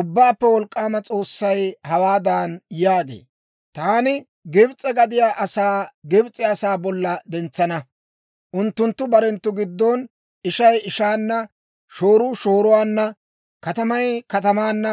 Ubbaappe Wolk'k'aama S'oossay hawaadan yaagee; «Taani Gibs'e gadiyaa asaa Gibs'e asaa bolla dentsana; unttunttu barenttu giddon ishay ishaana, shooruu shooruwaanna, katamay katamaanna,